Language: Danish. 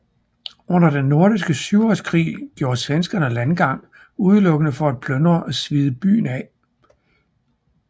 Under Den Nordiske Syvårskrig gjorde svenskerne landgang udelukkende for at plyndre og svide byen af